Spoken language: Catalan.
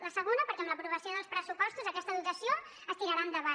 el segon perquè amb l’aprovació dels pressupostos aquesta dotació es tirarà endavant